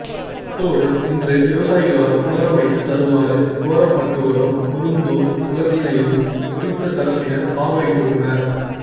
அத்தோடு இன்று விவசாயிகளால் புனரமைத்து தருமாறு கோரப்பட்டுவரும் குருந்தூர் குளத்தினையும் குறித்த தரப்பினர் பார்வையிட்டுள்ளனர்